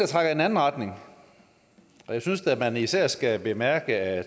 trækker i den anden retning og jeg synes da at man især skal bemærke at